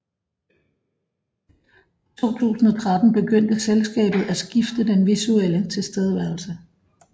I 2013 begyndte selskabet at skifte den visuelle tilstedeværelse